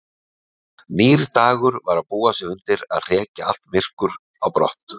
Nýr dagur var að búa sig undir að hrekja allt myrkur á brott.